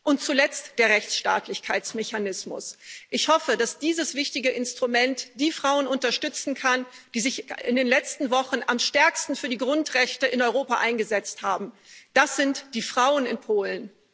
Und zuletzt der Rechtstaatlichkeitsmechanismus Ich hoffe, dass dieses wichtige Instrument die Frauen unterstützen kann, die sich in den letzten Wochen am stärksten für die Grundrechte in Europa eingesetzt haben, das sind die Frauen in Polen.